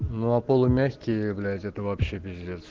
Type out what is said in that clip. ну а полумягкие блять это вообще пиздец